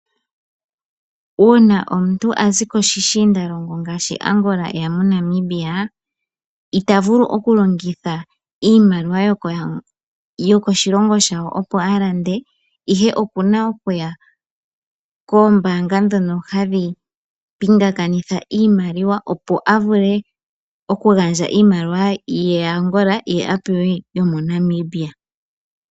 Uuna omuntu azi poshishiindalongo ngaashi Angola eya moNamibia, ita vulu okulongitha iimaliwa yokoshilongo shawo opo alande, ihe oku na okuya koombaanga ndhono hadhi pingakanitha iimaliwa, opo avule okugandja iimaliwa ye yAngola ye apewe yomoNamibia.